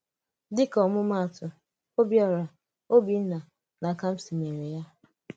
Dị̀ka ọmụ́maatụ, Obiora, Obinna, na Kamsi mere ya.